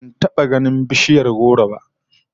Ban taba ganin bishiyar goro ba